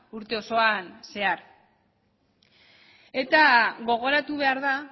urte osoan zehar eta gogoratu behar da